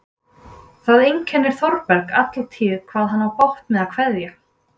Það einkennir Þórberg alla tíð hvað hann á bágt með að kveðja.